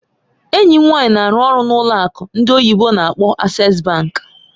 Enyi m nwanyị na-arụ ọrụ n'ụlọ akụ ndị oyibo n'akpọ Access bank